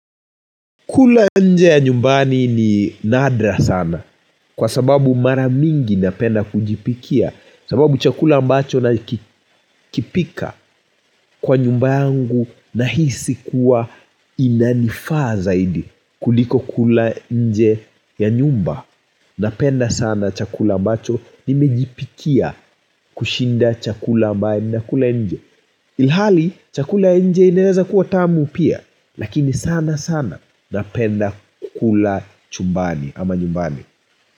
Kula nje ya nyumbani ni nadra sana kwa sababu mara mingi napenda kujipikia. Sababu chakula ambacho nakipika kwa nyumba yangu nahisi kuwa inanifaa zaidi kuliko kula nje ya nyumba, napenda sana chakula ambacho nimejipikia kushinda chakula ambacho nakula nje. Ilhali chakula ya nje inaweza kuwa tamu pia, lakini sana sana napenda kukula chumbani ama nyumbani.